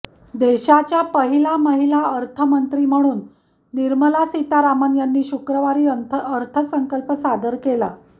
देशाच्या पहिला महिला अर्थमंत्री म्हणून निर्मला सितारामन यांनी शुक्रवारी अर्थसंकल्प सादर केला